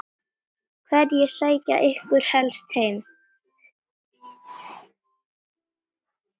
Hverjir sækja ykkur helst heim?